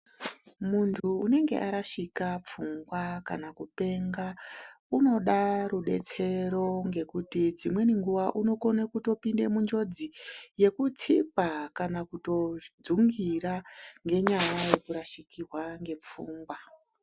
Muntu unenge arashika pfungwa kana kupenga, unoda rudetsero ngekuti dzimweni nguwa unokona kutopinda munjodzi yekutsikwa kana kutodzungira ngenyaya yekurashikirwa ngepfungwa.